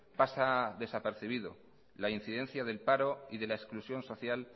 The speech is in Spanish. pasa desapercibido la incidencia del paro y de la exclusión social